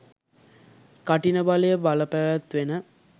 කඨින බලය බලපැවැත්වෙන